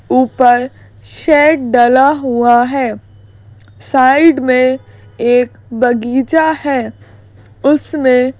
ऊपर शेड डला हुआ है साइड में एक बगीचा है उसमें--